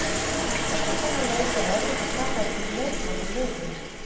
Eftir þennan leik er erfitt að taka einhvern leikmann úr liðinu.